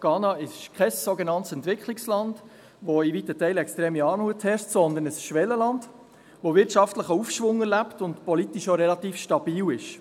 Ghana ist kein sogenanntes Entwicklungsland, wo in weiten Teilen extreme Armut herrscht, sondern ein Schwellenland, das einen wirtschaftlichen Aufschwung erlebt und politisch auch relativ stabil ist.